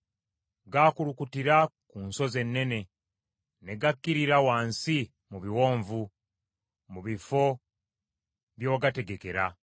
gaakulukutira ku nsozi ennene, ne gakkirira wansi mu biwonvu mu bifo bye wagategekera.